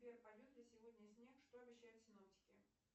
сбер пойдет ли сегодня снег что обещают синоптики